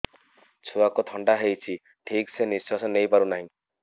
ଛୁଆକୁ ଥଣ୍ଡା ହେଇଛି ଠିକ ସେ ନିଶ୍ୱାସ ନେଇ ପାରୁ ନାହିଁ